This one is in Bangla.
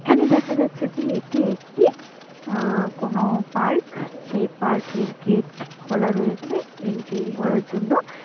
এখানে দেখা যাচ্ছে যে এটি একটি আ কোন পার্ক । সেই পার্কের গেট খোলা রয়েছে এন্ট্রি করার জন্য।